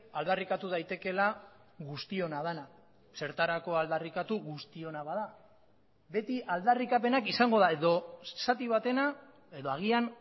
aldarrikatu daitekeela guztiona dena zertarako aldarrikatu guztiona bada beti aldarrikapenak izango da edo zati batena edo agian